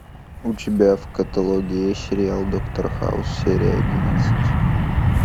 у тебя в каталоге есть сериал доктор хаус серия одиннадцать